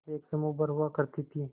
एक समूह भर हुआ करती थी